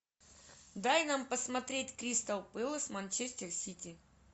дай нам посмотреть кристал пэлас манчестер сити